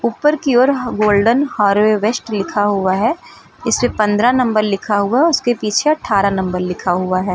ऊपर की ओर गोल्डन हार्वेस्ट लिखा हुआ है इससे पंद्रह नंबर लिखा हुआ उसके पीछे अठारह नंबर लिखा हुआ है।